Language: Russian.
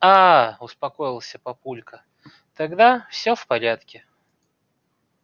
а-а-а успокоился папулька тогда всё в порядке